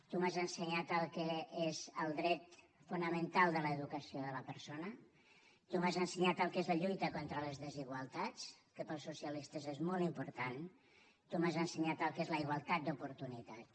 tu m’has ensenyat el que és el dret fonamental de l’educació de la persona tu m’has ensenyat el que és la lluita contra les desigualtats que per als socialistes és molt important tu m’has ensenyat el que és la igualtat d’oportunitats